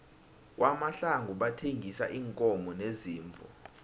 kwamahlangu bathengisa iinkomo neziimvu